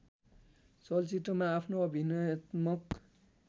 चलचित्रमा आफ्नो अभिनयत्मक